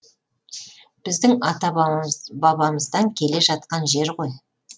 біздің ата бабамыздан келе жатқан жер ғой